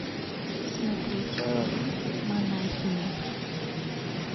смотреть фильм монахиня